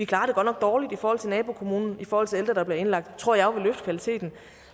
klarer det dårligt i forhold til nabokommunen i forhold til ældre der bliver indlagt tror jeg jo vil løfte kvaliteten